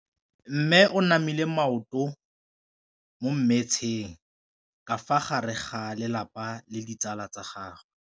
Mme o namile maoto mo mmetseng ka fa gare ga lelapa le ditsala tsa gagwe.